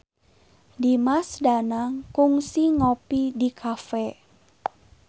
Dimas Danang kungsi ngopi di cafe